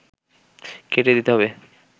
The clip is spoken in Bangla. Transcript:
কেটে দিতে হবে